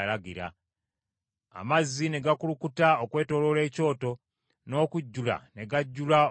Amazzi ne gakulukuta okwetooloola ekyoto, n’okujjula ne gajjula olusalosalo.